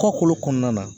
Kɔkolo kɔnɔna na